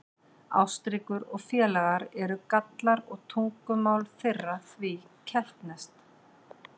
Ástríkur og félaga eru Gallar og tungumál þeirra því keltneskt.